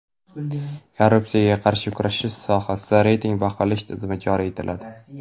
Korrupsiyaga qarshi kurashish sohasida reyting baholash tizimi joriy etiladi.